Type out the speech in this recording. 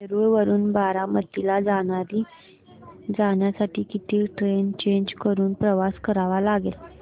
नेरळ वरून बारामती ला जाण्यासाठी किती ट्रेन्स चेंज करून प्रवास करावा लागेल